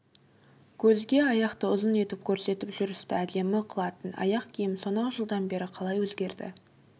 көзге аяқты ұзын етіп көрсетіп жүрісті әдемі қылатын аяқ киім сонау жылдан бері қалай өзгерді